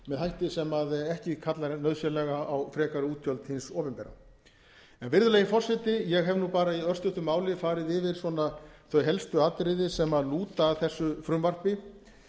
hætti sem ekki kallar nauðsynlega á frekari útgjöld hins opinbera virðulegi forseti ég hef bara í örstuttu máli farið yfir þau helstu atriði sem lúta að þessu frumvarpi